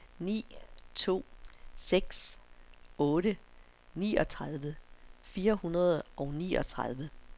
ni to seks otte niogtredive fire hundrede og niogtredive